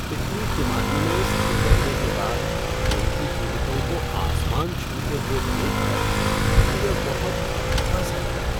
पिछली तिमाही में स्थिर रहने के बाद तेल की कीमतों को आसमान छूते हुए देख कर मुझे बहुत धक्का सा लगा।